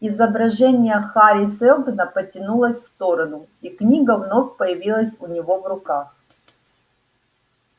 изображение хари сэлдона потянулось в сторону и книга вновь появилась у него в руках